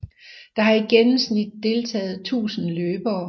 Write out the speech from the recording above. Der har i gennemsnit deltager 1000 løbere